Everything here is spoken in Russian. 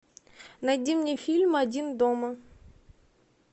найди мне фильм один дома